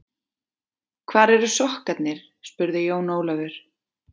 Hvar eru sokkarnir spurði Jón Ólafur.